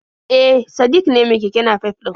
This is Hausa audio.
E, Sadik ne mai keke nafef ɗin